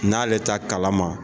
N'ale t'a kalama